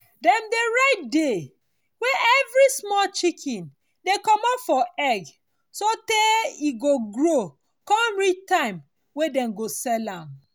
dem dey write day wey everi small chicken dey commot for egg so tey e go grow con reach time wey dey go sell am.